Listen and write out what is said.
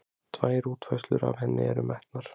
Tvær útfærslur af henni eru metnar